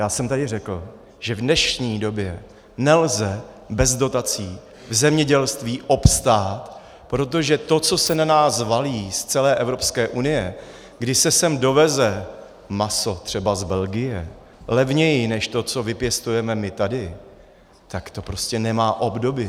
Já jsem tady řekl, že v dnešní době nelze bez dotací v zemědělství obstát, protože to, co se na nás valí z celé Evropské unie, kdy se sem doveze maso, třeba z Belgie, levněji než to, co vypěstujeme my tady, tak to prostě nemá obdoby.